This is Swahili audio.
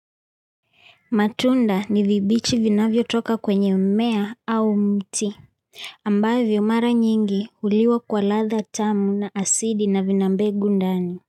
Matunda ni vibichi vinavyo toka kwenye mmea au mti, ambavyo mara nyingi ulio kwa ladha tamu na asidi na vina begu ndani.